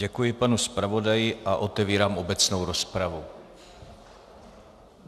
Děkuji panu zpravodaji a otevírám obecnou rozpravu.